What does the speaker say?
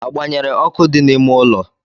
A gban̄yere ọkụ dị na-ịme ụlo?